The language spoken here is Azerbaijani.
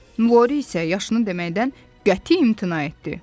Lori isə yaşını deməkdən qəti imtina etdi.